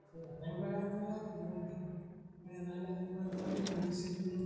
ene tipat tenitum embeku oolganayoio tewueji nainyangunyekie naishoro